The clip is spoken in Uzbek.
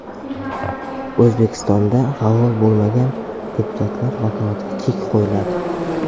O‘zbekistonda faol bo‘lmagan deputatlar vakolatiga chek qo‘yiladi.